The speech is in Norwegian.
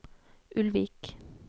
Ulvik